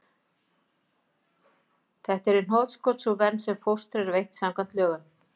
Þetta er í hnotskurn sú vernd sem fóstri er veitt samkvæmt lögum.